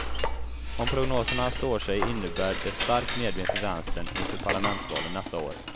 Om prognoserna står sig innebär det stark medvind för vänstern inför parlamentsvalen nästa år.